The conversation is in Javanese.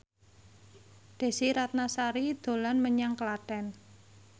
Desy Ratnasari dolan menyang Klaten